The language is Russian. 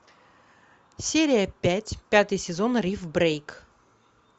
серия пять пятый сезон риф брейк